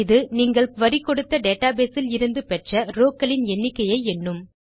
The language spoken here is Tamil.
இது நீங்கள் குரி கொடுத்த டேட்டாபேஸ் இலிருந்து பெற்ற rowக்களின் எண்ணிக்கையை எண்ணும்